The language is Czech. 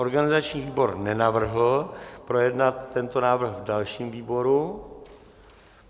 Organizační výbor nenavrhl projednat tento návrh v dalším výboru.